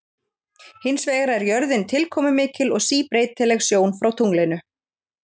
Hins vegar er jörðin tilkomumikil og síbreytileg sjón frá tunglinu.